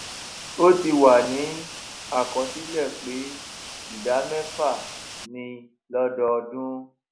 ó ti wà ní àkọsílẹ̀ pé ìdá mẹ́fà ni lódọọdún